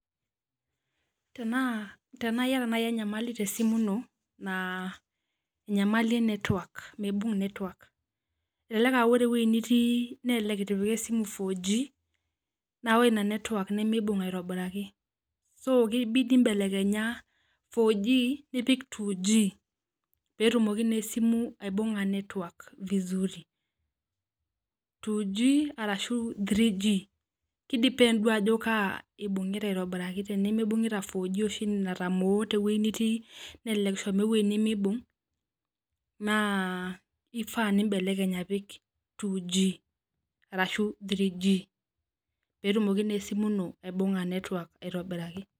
Tenaa tenaa iyata nai enyamali tesimu ino na enyamaili e network elelek a ore ewoi nitii nelelek itipika esimu four G na ore inanetwork nimibung aitobiraki kibidi mbelekenya four G nipik two G petumoki na esimu aibunga network vizuri two G arashu three G ki depend duo ajo kaa ibungita vizuri aitobiraki tenimibunguta oamshi enatamoo tewueji nitii nelek eshomo ewoii nimibung na kifaa nimbelekeny aoik two G arashu three G petumoki na esimu ino aibunga network aitobiraki